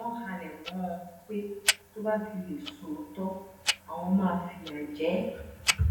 wọn halẹ mọ ọn pé tó bá fi lè sọ òótọ àwọn máa fìyà jẹ ẹ